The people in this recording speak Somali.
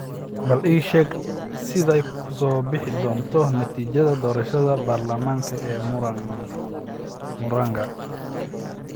Bal ii sheeg sida ay ku soo bixi doonto natiijada doorashada baarlamaanka ee Muranga